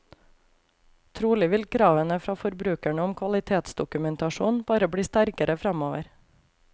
Trolig vil kravene fra forbrukerne om kvalitetsdokumentasjon bare bli sterkere framover.